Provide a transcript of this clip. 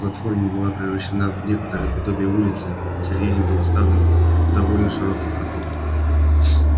платформа была превращена в некоторое подобие улицы посередине был оставлен довольно широкий проход